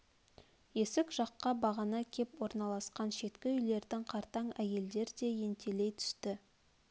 есік жаққа бағана кеп орналасқан шеткі үйлердің қартаң әйелдер де ентелей түсті